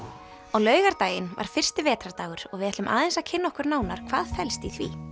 á laugardaginn var fyrsti vetrardagur og við ætlum aðeins að kynna okkur nánar hvað felst í því